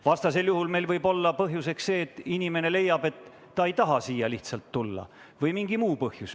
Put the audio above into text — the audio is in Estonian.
Vastasel juhul võib olla põhjuseks see, et inimene leiab, et ta lihtsalt ei taha siia tulla, või mingi muu põhjus.